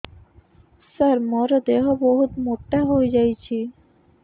ସାର ମୋର ଦେହ ବହୁତ ମୋଟା ହୋଇଯାଉଛି